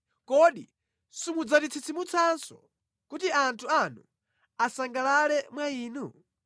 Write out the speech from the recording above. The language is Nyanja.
Kodi simudzatitsitsimutsanso, kuti anthu anu asangalale mwa Inu?